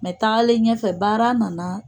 tagalen ɲɛfɛ baara nana